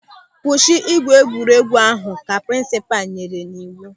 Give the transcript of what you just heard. "Kwụsị egwuregwu ahụ" ka prinsipal nyere n'iwu.